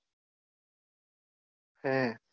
હે